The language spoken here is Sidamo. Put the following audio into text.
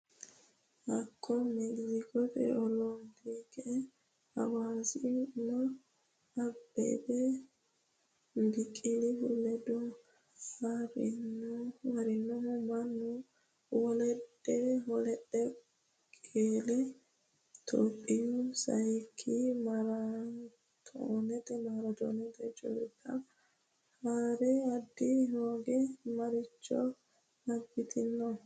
Hakko Mekiskote olompike heewisama Abbebe Biqilihu ledo ha’rinohu Maammo Woldehu qeele Itophiyaho sayikki maaraatoonete culka haa’ri, ada hooga maricho abbitanno?